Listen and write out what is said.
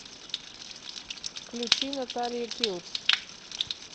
включи наталия киллс